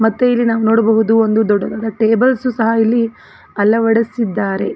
ಮತ್ತು ಇಲ್ಲಿ ನಾವು ನೋಡಬಹುದು ಒಂದು ದೊಡ್ಡದಾದ ಟೇಬಲ್ಸ್ ಸಹ ಇಲ್ಲಿ ಅಳವಡಿಸಿದ್ದಾರೆ.